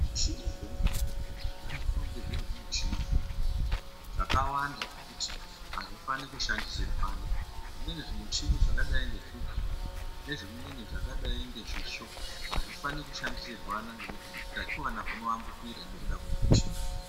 Zvimichini zvemuzvibhedhleya zvinofanira kunge zviri zvichini zvakanaka, zvakawanda zvekuti azvifani kushandisirwana. Zvimweni zvimichini zvakadai ngezvigero nezvimweni zvakadai ngezvisvo azvifani kushandisirwana ngekuti utachiwana hunoambukira nekuda kwezvimichini zvona izvozvo.